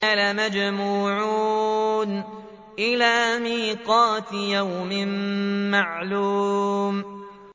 لَمَجْمُوعُونَ إِلَىٰ مِيقَاتِ يَوْمٍ مَّعْلُومٍ